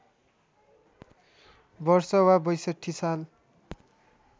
वर्ष वा ६२ साल